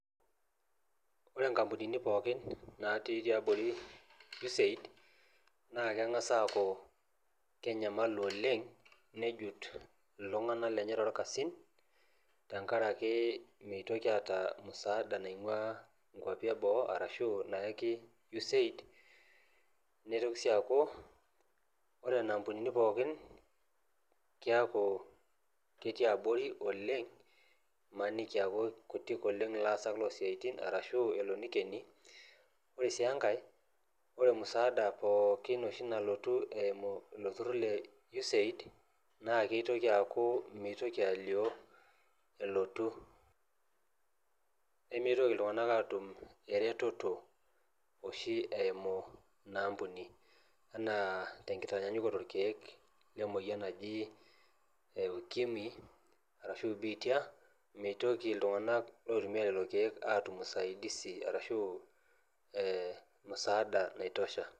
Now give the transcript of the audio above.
Ore inkampunini pookin natii tiabori USAID naa keng'as aaku kenyamalu oleng nejut iltung'anak lenye torkasin tenkarake meitoki aata musaada naing'ua inkuapi eboo arashu nayaki USAID nitoki sii aaku ore nena ampunini pookin kiaku ketii abori oleng imaniki eaku kutik oleng ilaasak losiaitin arashu elo nikeni ore sii enkae ore musaada pookin oshi nalotu eimu ilo turrur le USAID naa keitoki aaku mitoki alio elotu nemeitoki iltung'anak atum eretoto oshi eimu ina ampuni enaa tenkitanyanyukoto irkeek lemoyian naji ukimwi arashu biitia mitoki iltung'anak loitumia lelo keek atum usaidisi arashu eh musaada naitosha.